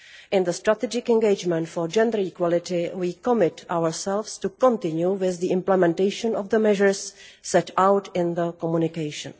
In the strategic engagement for gender equality we commit ourselves to continue with the implementation of the measures set out in the communication.